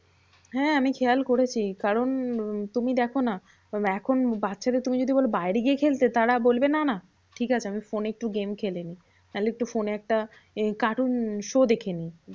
হ্যাঁ আমি খেয়াল করেছি, কারণ উম তুমি দেখো না এখন বাচ্চা দের তুমি যদি বলো বাইরে গিয়ে খেলতে তারা বলবে না না ঠিকাছে আমি ফোনে একটু game খেলেনি। নাহলে একটু ফোনে একটা এই cartoon show দেখেনি।